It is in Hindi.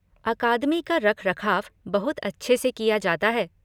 अकादमी का रखरखाव बहुत अच्छे से किया जाता है।